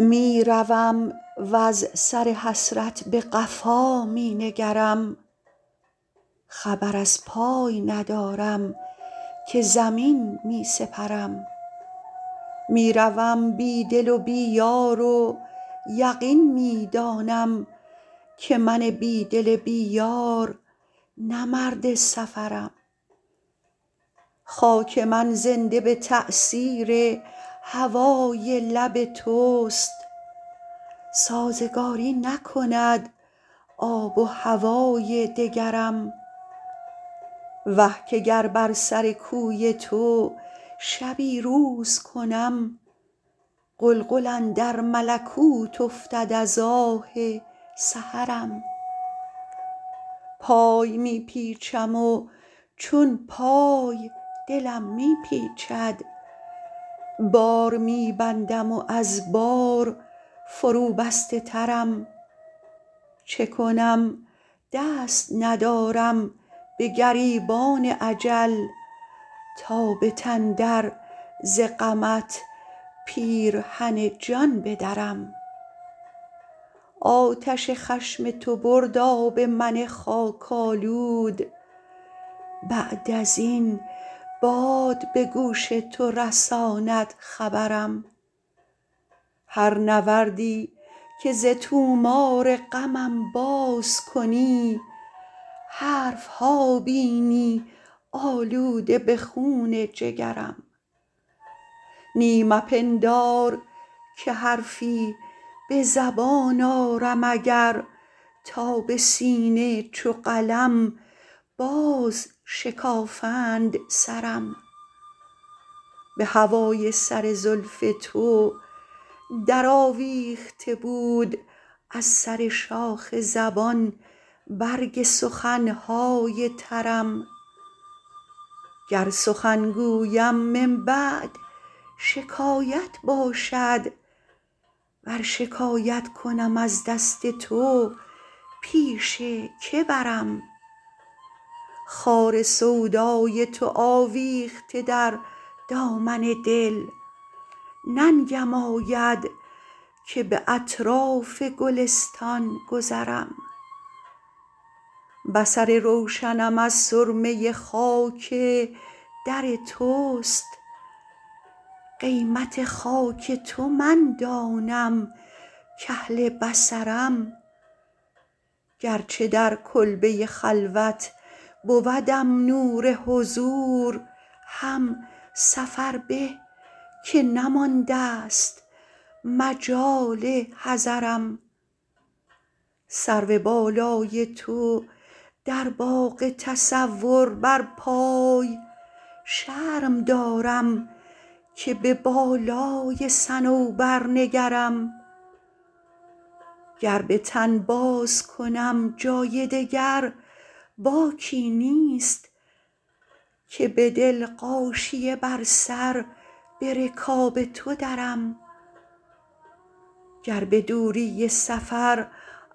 می روم وز سر حسرت به قفا می نگرم خبر از پای ندارم که زمین می سپرم می روم بی دل و بی یار و یقین می دانم که من بی دل بی یار نه مرد سفرم خاک من زنده به تأثیر هوای لب توست سازگاری نکند آب و هوای دگرم وه که گر بر سر کوی تو شبی روز کنم غلغل اندر ملکوت افتد از آه سحرم پای می پیچم و چون پای دلم می پیچد بار می بندم و از بار فروبسته ترم چه کنم دست ندارم به گریبان اجل تا به تن در ز غمت پیرهن جان بدرم آتش خشم تو برد آب من خاک آلود بعد از این باد به گوش تو رساند خبرم هر نوردی که ز طومار غمم باز کنی حرف ها بینی آلوده به خون جگرم نی مپندار که حرفی به زبان آرم اگر تا به سینه چو قلم بازشکافند سرم به هوای سر زلف تو درآویخته بود از سر شاخ زبان برگ سخن های ترم گر سخن گویم من بعد شکایت باشد ور شکایت کنم از دست تو پیش که برم خار سودای تو آویخته در دامن دل ننگم آید که به اطراف گلستان گذرم بصر روشنم از سرمه خاک در توست قیمت خاک تو من دانم کاهل بصرم گرچه در کلبه خلوت بودم نور حضور هم سفر به که نماندست مجال حضرم سرو بالای تو در باغ تصور برپای شرم دارم که به بالای صنوبر نگرم گر به تن بازکنم جای دگر باکی نیست که به دل غاشیه بر سر به رکاب تو درم گر به دوری سفر